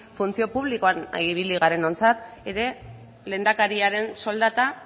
funtzio publikoan ibili garenontzat ere lehendakariaren soldata